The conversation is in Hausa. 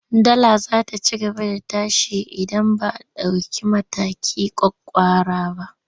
Dala za ta ci gaba da tashi idan ba a ɗauki mataki ƙwaƙƙwara ba.